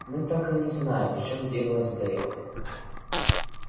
мы так и не знаем в чем дело с дейвом